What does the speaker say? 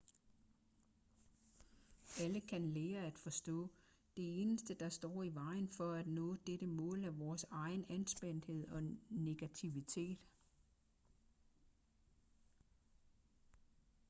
alle kan lære at forstå det eneste der står i vejen for at nå dette mål er vores egen anspændthed og negativitet